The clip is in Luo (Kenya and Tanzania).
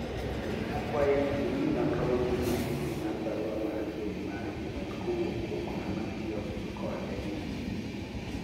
akwayi ni ingi nonro motim machiegni mar barua mar mbui mar email kowuok kuom ng'ama tiyo kode ni